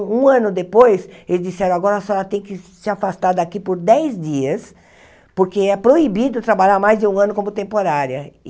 Um ano depois, eles disseram, agora a senhora tem que se afastar daqui por dez dias, porque é proibido trabalhar mais de um ano como temporária.